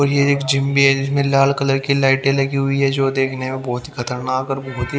और ये एक जिम भी है जिसमें लाल कलर की लाइटें लगी हुई है जो देखने में बहुत ही खतरनाक और बहुत ही --